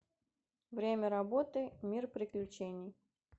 время работы мир приключений